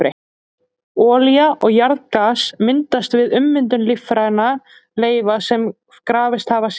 Olía og jarðgas myndast við ummyndun lífrænna leifa sem grafist hafa í seti.